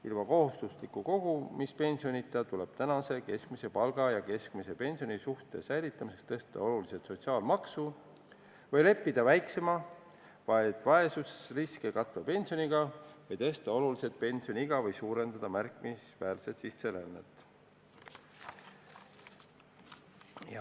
Ilma kohustusliku kogumispensionita tuleb praeguse keskmise palga ja keskmise pensioni suhte säilitamiseks oluliselt tõsta sotsiaalmaksu või leppida väiksema, vaid vaesusriski katva pensioniga või tõsta oluliselt pensioniiga või suurendada märkimisväärselt sisserännet.